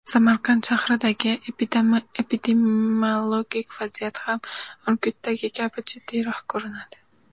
Samarqand shahridagi epidemiologik vaziyat ham Urgutdagi kabi jiddiyroq ko‘rinadi.